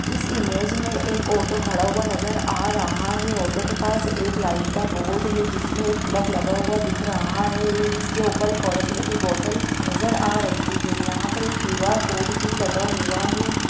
इस इमेज में एक ऑटो खड़ा हुआ नजर आ रहा है ऑटो के पास एक लाइट का बोर्ड है जिसमें एक प्लग लगा दिख रहा है इसके ऊपर एक ऑरेंज कलर की बोटल नजर आ रही है यहाँ पर एक क्यूआर कोड भी लगा हुआ है।